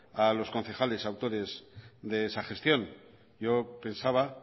a los concejales autores de esa gestión yo pensaba